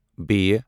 ب